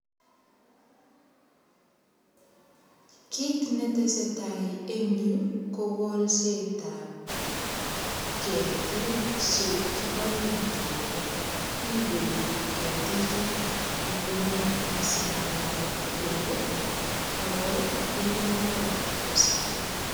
Kiit netesetai en yu ko kolset ap ketik chekiboen tuga ripei ketichuto nyukunyek asimalaa beek ako rip mbaret kosikchi.